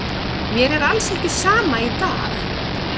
Mér er alls ekki sama í dag.